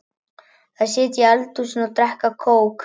Þær sitja í eldhúsinu og drekka kók.